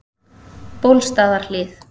Bólstaðarhlíð